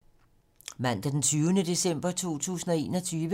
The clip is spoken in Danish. Mandag d. 20. december 2021